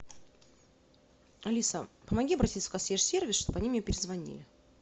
алиса помоги обратиться в консьерж сервис чтобы они мне перезвонили